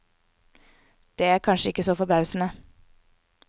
Det er kanskje ikke så forbausende.